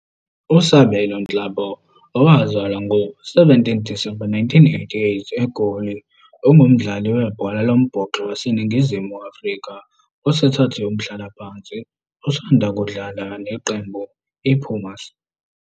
USabelo Nhlapo, owazalwa ngomhlaka 17 Disemba 1988 eGoli, ungumdlali webhola lombhoxo waseNingizimu Afrika osethathe umhlalaphansi, osanda kudlala neqembu IPumas.